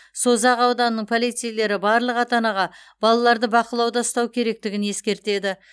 созақ ауданының полицейлері барлық ата анаға балаларды бақылауда ұстау керектігін ескертеді